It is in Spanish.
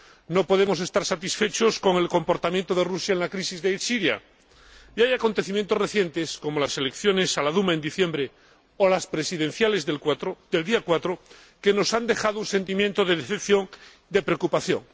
No podemos estar satisfechos con el comportamiento de Rusia en la crisis de Siria y hay acontecimientos recientes, como las elecciones a la Duma, en diciembre, o las presidenciales del pasado 4 de marzo, que nos han dejado un sentimiento de decepción, de preocupación.